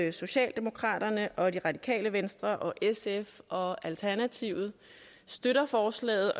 at socialdemokraterne radikale venstre sf og alternativet støtter forslaget